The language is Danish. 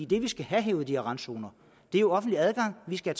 det vi skal have i de her randzoner er jo offentlig adgang vi skal